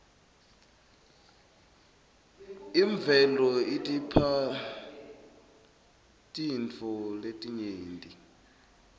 imuelo idipha tirtfo letinyenti